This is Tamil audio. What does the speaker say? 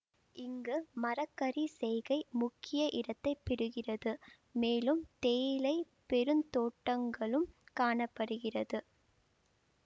இங்கு மர கறி செய்கை முக்கிய இடத்தை பெருகிறது மேலும் தேயிலை பெருந்தோட்டங்களும் காண படுகிறது